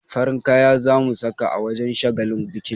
Farin kaya za mu saka a wajen shagalin bikin.